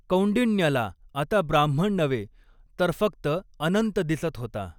कौंडिण्यला आता ब्राह्मण नव्हे, तर फक्त अनंत दिसत होता.